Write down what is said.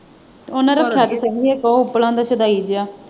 ਉਹਨੇ ਰੱਖਿਆ ਤੇ ਸੀ ਇੱਕ ਉਹ ਉੱਪਲਾਂ ਦਾ ਸਦਾਈ ਜਿਹਾ।